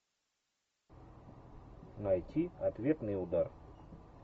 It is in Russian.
найти ответный удар